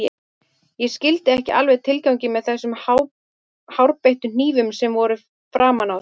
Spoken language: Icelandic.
Ég skildi ekki alveg tilganginn með þessum hárbeittu hnífum sem voru framan á þeim.